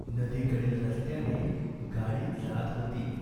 नदीकडील रस्त्याने गाडी जात होती.